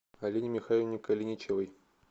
алине михайловне калиничевой